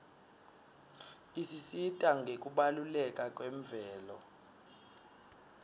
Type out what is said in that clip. isisita ngekubaluleka kwemvelo